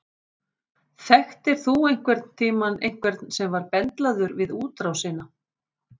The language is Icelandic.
Þekktir þú einhvern tíman einhvern sem var bendlaður við útrásina?